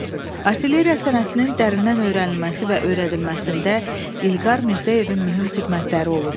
Artilleriya sənətinin dərindən öyrənilməsi və öyrədilməsində İlqar Mirzəyevin mühüm xidmətləri olub.